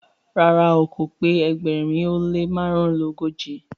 ràrá o k pé ẹgbẹrin o le marunogoji